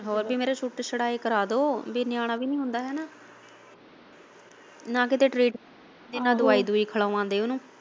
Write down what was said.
ਹੋਰ ਕੀ ਮੇਰਾ ਛੂਤ ਛੁਡਾ ਹੀ ਕਰਵਾ ਦੋ ਵੀ ਨਿਆਣਾ ਵੀ ਨਹੀਂ ਹੁੰਦਾ ਹੈਨਾ ਨਾ ਕਿਤੇ ਟਰੀਟ ਤੇ ਨਾ ਦਵਾਈ ਦਵੁਈ ਖਿਲਵਾਉਦੇ ਉਨੂੰ।